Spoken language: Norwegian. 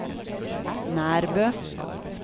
Nærbø